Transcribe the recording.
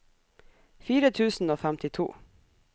fire tusen og femtito